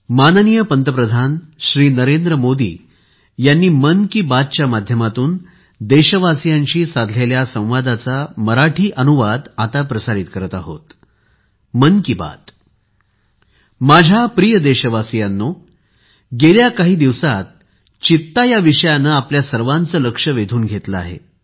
माझ्या प्रिय देशवासियांनों गेल्या काही दिवसांत चित्ता या विषयाने आपले सर्वांचे लक्ष वेधून घेतले आहे